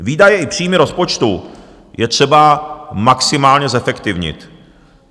Výdaje i příjmy rozpočtu je třeba maximálně zefektivnit.